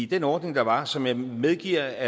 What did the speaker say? den ordning der var som jeg medgiver